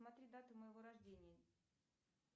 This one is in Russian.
смотри дату моего рождения